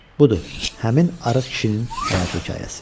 Budur, həmin arıq kişinin həyat hekayəsi.